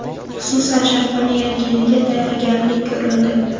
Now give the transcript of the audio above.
Xususan, Sharqona yangi yilga katta tayyorgarlik ko‘rildi.